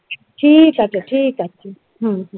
ঠিক আছে ঠিক আচে হম হম